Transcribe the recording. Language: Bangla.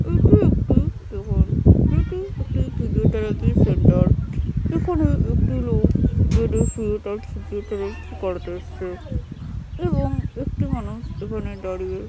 এটি একটি এটি একটি ফিজিওথেরাফি সেন্টার এখানে একটি লোক বেডে শুয়ে তার সাথে ফিজিওথেরাফি করাতে এসছে এবং একটি মানুষ এখানে দাঁড়িয়ে।